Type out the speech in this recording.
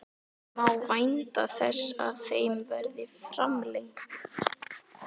Má vænta þess að þeim verði framlengt?